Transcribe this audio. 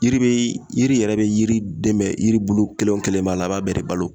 Yiri be yiri yɛrɛ be yiri dɛmɛ yiribulu kelen o kelen b'a la a b'a bɛɛ de balo